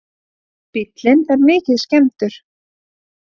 Bíllinn er mikið skemmdur